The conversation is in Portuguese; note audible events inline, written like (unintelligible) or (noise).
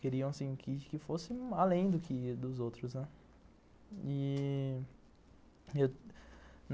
Queriam assim que fosse além dos outros, né. E... Eu (unintelligible)